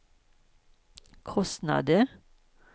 kostnader